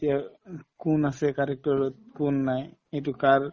এতিয়া উম কোন আছে director ত কোন নাই এইটো কাৰ